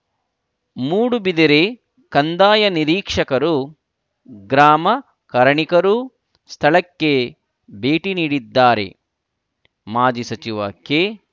ಮೂಡುಬಿದಿರೆ ಕಂದಾಯ ನಿರೀಕ್ಷಕರು ಗ್ರಾಮ ಕರಣಿಕರೂ ಸ್ಥಳಕ್ಕೆ ಭೇಟಿ ನೀಡಿದ್ದಾರೆ ಮಾಜಿ ಸಚಿವ ಕೆ